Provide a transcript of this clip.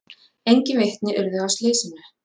Engin vitni urðu að slysinu